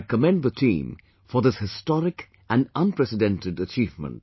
I commend the team for this historic and unprecedented achievement